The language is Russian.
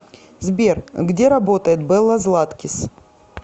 сбер где работает белла златкис